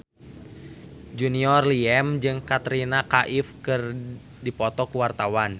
Junior Liem jeung Katrina Kaif keur dipoto ku wartawan